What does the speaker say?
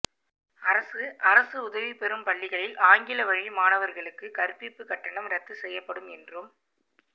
அரசு அரசு உதவி பெறும் பள்ளிகளில் ஆங்கில வழி மாணவர்களுக்கு கற்பிப்பு கட்டணம் ரத்து செய்யப்படும் என்றும்